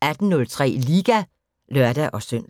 18:03: Liga (lør-søn)